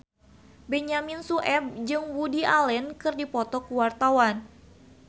Benyamin Sueb jeung Woody Allen keur dipoto ku wartawan